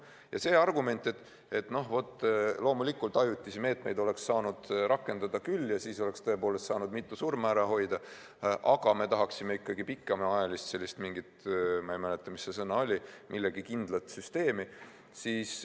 Ja see argument, et ajutisi meetmeid oleks saanud rakendada küll ja siis oleks tõepoolest saanud mitu surma ära hoida, aga me tahaksime ikkagi pikemaajalist – ma ei mäleta, mis see sõna oli – millegi kindlat süsteemi.